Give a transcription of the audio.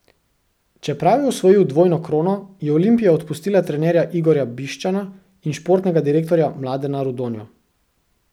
Čeprav je osvojil dvojno krono, je Olimpija odpustila trenerja Igorja Bišćana in športnega direktorja Mladena Rudonjo.